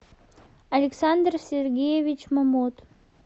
александр сергеевич момот